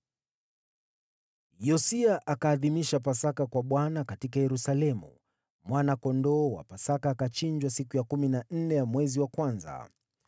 Yosia akaadhimisha Pasaka kwa Bwana katika Yerusalemu, mwana-kondoo wa Pasaka akachinjwa siku ya kumi na nne ya mwezi wa kwanza.